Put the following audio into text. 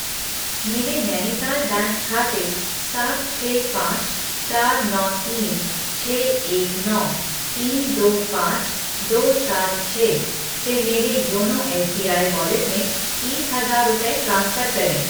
मेरे नैनीताल बैंक खाते सात छः पाँच चार नौ तीन छः एक नौ तीन दो पाँच दो सात छः से मेरे योनो एसबीआई वॉलेट में तीस हजार रुपये ट्रांसफ़र करें